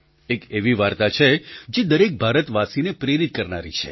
એક એવી વાર્તા છે જે દરેક ભારતવાસીને પ્રેરિત કરનારી છે